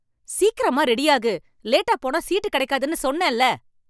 சீக்கிரமா ரெடியாகு! லேட்டா போனா சீட்டு கிடைக்காதுன்னு சொன்னேன்ல.